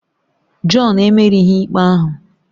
John emerighị ikpe ahụ